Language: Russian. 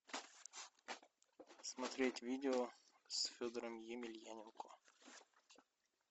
смотреть видео с федором емельяненко